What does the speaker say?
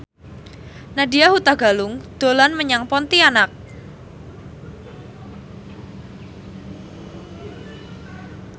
Nadya Hutagalung dolan menyang Pontianak